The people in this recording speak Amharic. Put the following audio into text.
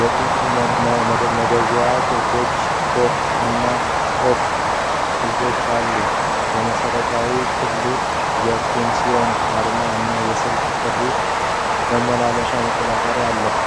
የቁጥር መደወያ ቁልፎች፣ 'ቶክ' እና 'ኦፍ' ቁልፎች አሉት። የመሠረታዊ ክፍሉ የ'Panasonic' አርማ እና የስልክ ጥሪ መመለሻ መቆጣጠሪያዎች አሉ።